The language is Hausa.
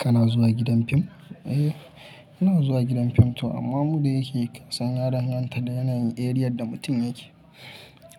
Kana zuwa gidan fim? Eh, ina zuwa gidan fim to amma muddin yake kasan ya danganta da yanayin eriyar da mutum yake.